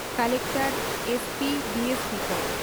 Collector, SP, DSP ᱠᱚ ᱾